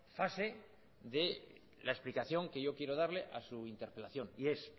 fase de la explicación que yo quiero darle a su interpelación y es